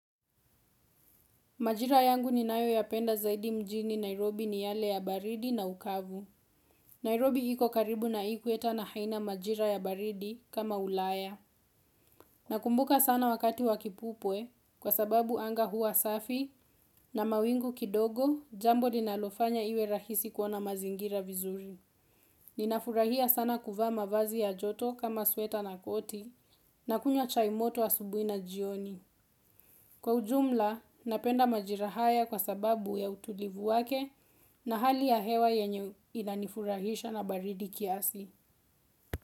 Majira yangu ninayoyapenda zaidi mjini Nairobi ni yale ya baridi na ukavu. Nairobi iko karibu na ikueta na haina majira ya baridi kama ulaya. Nakumbuka sana wakati wa kipupwe kwa sababu anga hua safi na mawingu kidogo jambo linalofanya iwe rahisi kuona mazingira vizuri. Ninafurahia sana kuvaa mavazi ya joto kama sweta na koti na kunywa chai moto asubuhi na jioni. Kwa ujumla, napenda majira haya kwa sababu ya utulivu wake na hali ya hewa yenye inanifurahisha na baridi kiasi.